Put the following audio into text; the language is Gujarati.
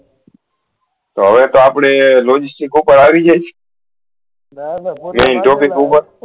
તો હવે તો આપળે logistics ઉપર આવી જયીસ main topic ઉપર